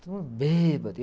Todo mundo bêbado.